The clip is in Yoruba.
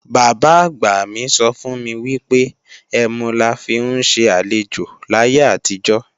Bàbá-àgbà mi sọ fún mi wípé, ẹmu la fi ń ṣe àlejò láyé àtijó